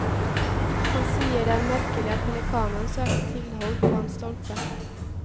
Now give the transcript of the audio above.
Han sier det er merkelig at pelikanen søkte tilhold på en stolpe.